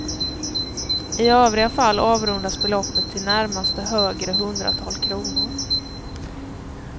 I övriga fall avrundas beloppet till närmaste högre hundratal kronor.